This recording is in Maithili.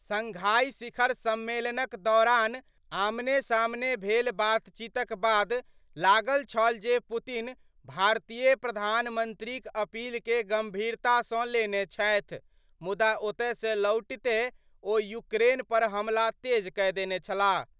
शंघाई शिखर सम्मेलनक दौरान आमने-सामने भेल बातचीतक बाद लागत छल जे पुतिन भारतीय प्रधानमंत्रीक अपील के गंभीरता सं लेने छथि, मुदा ओतय सं लौटिते ओ यूक्रेन पर हमला तेज कए देने छलाह।